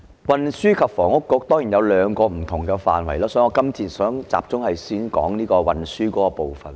運房局有兩個不同的工作範疇，我今次想先集中談談運輸的部分。